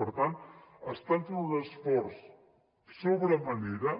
per tant estan fent un esforç sobre manera